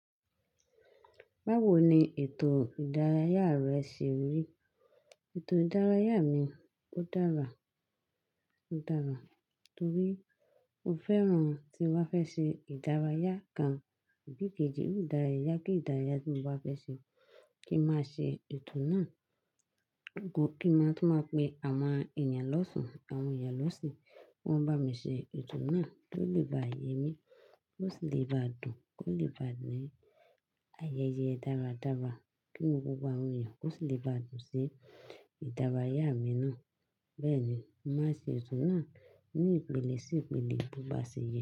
Báwo ni ètò ìdárayá rẹ ṣe rí? Ètò ìdárayá mi, ó dára, ó dára torí mo fẹ́ràn tí n bá fẹ́ ṣe ìdárayá kan tàbi ìkèjì, ó dára yá kí ìdárayá tí mo bá fẹ́ ṣe kí má ṣe ètò náà. Kí má tún máa pe àwọn èèyàn lọ́tún, àwọn èèyàn lọ́sìn, wọ́n bá mi ṣe ètò náà tó lè bá yẹ mí, tó sì lè bá dùn, tó lè bá ní ayẹyẹ dáradára. Kí nu gbogbo àwọ́n èèyàn kó sì lè bá dùn sí ìdárayá mi náà. Bẹ́ẹ̀ ni, má ṣe ètò náà ní ìpele sí ìpele bí ó bá ṣe yẹ.